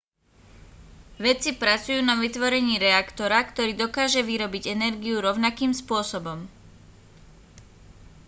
vedci pracujú na vytvorení reaktora ktorý dokáže vyrobiť energiu rovnakým spôsobom